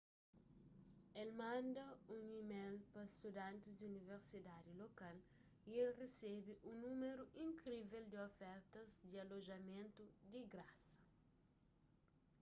el manda un email pa studantis di universitadi lokal y el resebe un númeru inkrivel di ofertas di alojamentu di grasa